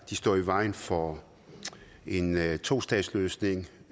de står i vejen for en tostatsløsning